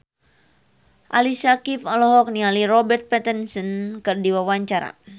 Ali Syakieb olohok ningali Robert Pattinson keur diwawancara